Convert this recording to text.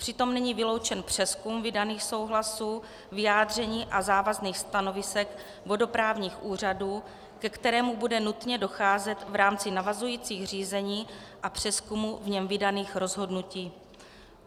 Přitom není vyloučen přezkum vydaných souhlasů, vyjádření a závazných stanovisek vodoprávních úřadů, ke kterému bude nutně docházet v rámci navazujících řízení a přezkumu v něm vydaných rozhodnutí.